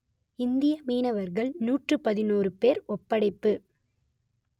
இந்திய மீனவர்கள் நூற்று பதினொறு பேர் ஒப்படைப்பு